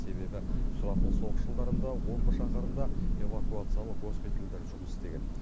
себебі сұрапыл соғыс жылдарында омбы шаһарында эвакуациялық госпитальдер жұмыс істеген